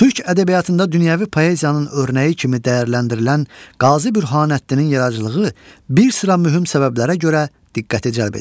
Türk ədəbiyyatında dünyəvi poeziyanın örnəyi kimi dəyərləndirilən Qazi Bürhanəddinin yaradıcılığı bir sıra mühüm səbəblərə görə diqqəti cəlb edir.